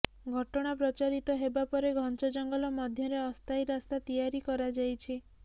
ଘଟଣା ପ୍ରଚାରିତ ହେବା ପରେ ଘଂଚ ଜଙ୍ଗଲ ମଧ୍ୟରେ ଅସ୍ଥାୟୀ ରାସ୍ତା ତିଆରି କରାଯାଇଛି